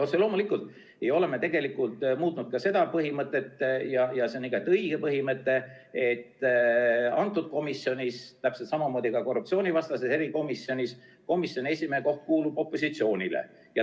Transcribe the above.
Otse loomulikult ei ole me tegelikult muutnud ka seda põhimõtet –ja see on igati õige põhimõte –, et kõnealuses komisjonis ja täpselt samamoodi ka korruptsioonivastases erikomisjonis kuulub komisjoni esimehe koht opositsioonile.